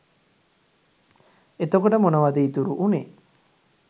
එතකොට මොනවාද ඉතුරු වුනේ